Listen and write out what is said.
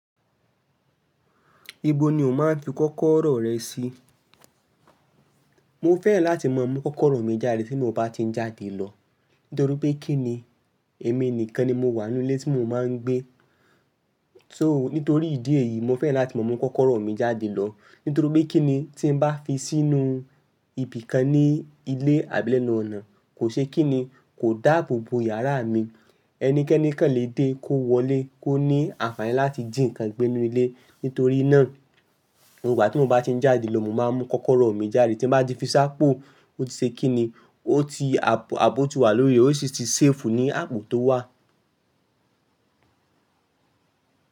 Ibo ni o máa ń fi kọ́kọ́rọ́ rẹ sí? Mo fẹ́ràn láti máa mú kọ́kọ́rọ́ mi jáde tí mo bá ti ń jáde lọ. Nítorí pé kí ni? Èmi nìkan ni mo wà nínú ilé tí mo máa ń gbé. So nítorí ìdí èyí, mo fẹ́ràn láti máa mú kọ́kọ́rọ́ mi jáde lọ. Nítorí pé kíni tí bá fi sínú ibì kan ní ilé àbí lẹ́nu ọ̀nà kò ṣe kíni, kò dáàbo bo yàrá mi. Ẹnikẹ́ni kan le dé kó wọlé, kó ní àǹfààní láti jí nǹkan gbé nínú ilé. Nítorí náà, nígbà tí mo bá ti ń jáde lọ, mo máa ń mú kọ́kọ́rọ́ mi jáde. Tí mo bá ti fi sá pọ̀, ó ti ṣe kíni, ó ti àbò ti wà lórí rẹ̀, ó sì ti safe ní ààbò tó wà.